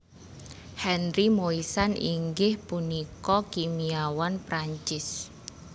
Henri Moissan inggih punika kimiawan Prancis